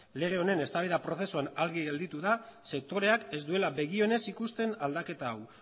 lege honen eztabaida prozesuan argi gelditu da sektoreak ez duela begi onez ikusten aldaketa hau